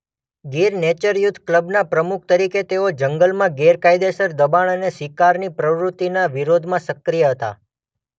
Gir nature youth ક્લબના પ્રમુખ તરીકે તેઓ જંગલમાં ગેરકાયદેસર દબાણ અને શિકારની પ્રવૃત્તિના વિરોધમાં સક્રિય હતા.